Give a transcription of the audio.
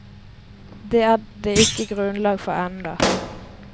Det er det ikke grunnlag for ennå.